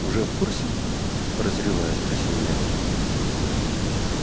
уже в курсе прозревая спросил я